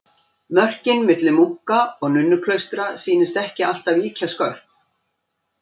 Mörkin milli munka- og nunnuklaustra sýnast ekki alltaf ýkja skörp.